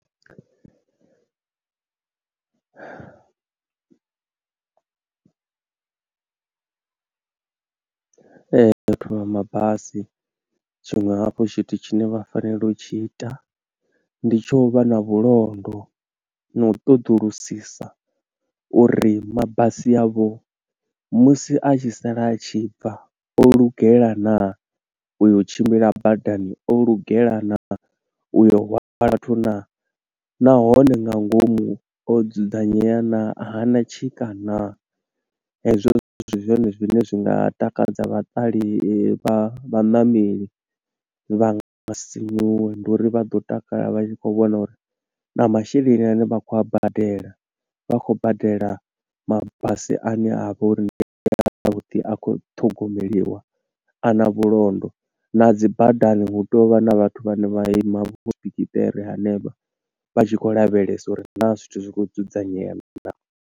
Ee, vhathu vha mabasi, tshiṅwe hafhu tshithu tshine vha fanela u tshi ita, ndi tsho u vha na vhulondo, no u ṱoḓulusisa uri mabasi avho musi a tshi sala a tshi bva o lugela naa, uyo tshimbila badani o lugela naa, uyo hwala vhathu naa, nahone nga ngomu o dzudzanyea naa, ha na tshika naa. Hezwo zwithu ndi zwone zwine zwi nga takadza vhaṱale, vha vhaṋameli vha nga sinyuwa, ndi uri vha ḓo takala vha tshi khou vhona uri na masheleni ane vha khou a badela, vha khou badela mabasi ane avha uri ndi ya vhuḓi, a khou ṱhogomeliwa, a na vhulondo. Na dzi badani hu tovha na vhathu vhane vha ima vho ḓikiṱeri henevha vha tshi khou lavhelesa uri na zwithu zwi khou dzudzanyea naa.